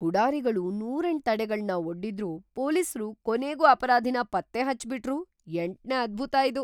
ಪುಢಾರಿಗಳು ನೂರೆಂಟ್‌ ತಡೆಗಳ್ನ್‌ ಒಡ್ಡಿದ್ರೂ ಪೊಲೀಸ್ರು‌ ಕೊನೆಗೂ ಅಪರಾಧಿನ ಪತ್ತೇ ಹಚ್ಚೇಬಿಟ್ರು.. ಎಂಟ್ನೇ ಅದ್ಭುತ ಇದು!